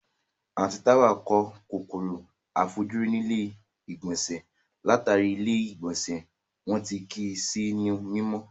Àǹtí Táwà kó kòkòrò àìfojúrí nílé ìgbọ̀nsẹ̀ látàrí ilé ìgbọ̀nsẹ́ wọn tí kìí sí ní mímọ́